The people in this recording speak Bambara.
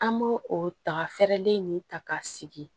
An b'o o daga fɛrɛlen nin ta k'a sigi